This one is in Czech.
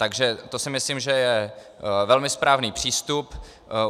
Takže to si myslím, že je velmi správný přístup.